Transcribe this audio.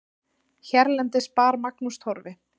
Hérlendis bar Magnús Torfi